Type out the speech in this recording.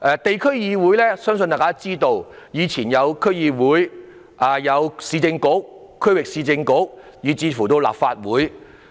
大家都知道，地區議會包括區議會、以往的市政局及區域市政局，以至立法會。